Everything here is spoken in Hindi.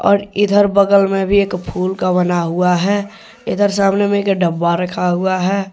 और इधर बगल में भी एक फूल का बना हुआ है इधर सामने में एक डब्बा रखा हुआ।